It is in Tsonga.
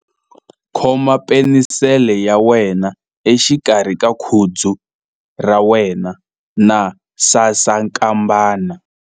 Khoma penisele ya wena exikarhi ka khudzu ra wena na sasankambana.